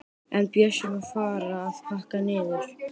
En Bjössi má fara að pakka niður.